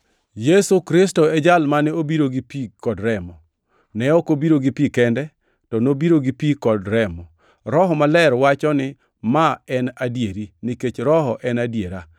Yesu Kristo e Jal mane obiro gi pi kod remo. Ne ok obiro gi pi kende, to nobiro gi pi kod remo. Roho Maler wacho ni ma en adieri, nikech Roho en e adiera.